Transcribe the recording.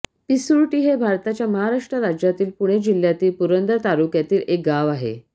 पिसुर्टी हे भारताच्या महाराष्ट्र राज्यातील पुणे जिल्ह्यातील पुरंदर तालुक्यातील एक गाव आहे